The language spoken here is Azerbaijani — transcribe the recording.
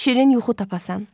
Şirin yuxu tapasan.